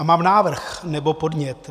A mám návrh nebo podnět.